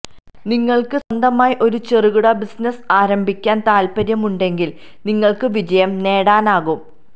നിങ്ങള്ക്ക് സ്വന്തമായി ഒരു ചെറുകിട ബിസിനസ്സ് ആരംഭിക്കാന് താല്പ്പര്യമുണ്ടെങ്കില് നിങ്ങള്ക്ക് വിജയം നേടാനാകും